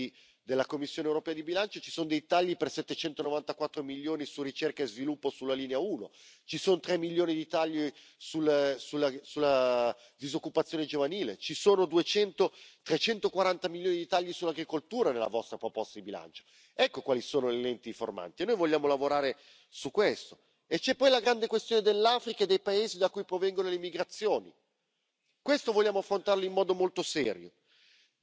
schnell und effizient auch erledigt werden müssen. Deshalb sind hier die 16 Dienstposten für uns eine Grundvoraussetzung dafür, ob der Austrittsvertrag oder der harte Brexit auch vom Gericht gelöst werden kann und nicht von anderen Instituten. Wir haben im heurigen Jahr endgültig die 5 Kürzung des Personals durchgezogen, auch das Parlament hat seine Dienstposten um 5 gekürzt. Das ist natürlich